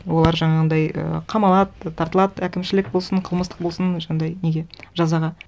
олар жаңағындай і қамалады тартылады әкімшілік болсын қылмыстық болсын сондай неге жазаға